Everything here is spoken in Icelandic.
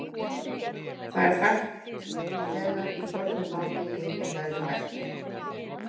Það er þekkt þegar í fornu máli í eiginlegri merkingu.